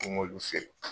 N k'olu feere